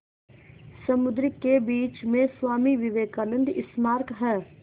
समुद्र के बीच में स्वामी विवेकानंद स्मारक है